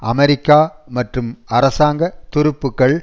அமெரிக்க மற்றும் அரசாங்க துருப்புகள்